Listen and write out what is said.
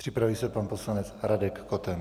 Připraví se pan poslanec Radek Koten.